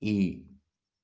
и